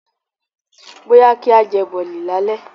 Bóyá kí á jẹ Bọ̀lì lálẹ́.